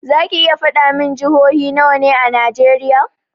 Zaki iya faɗa min jihohi nawa ne a najeriya?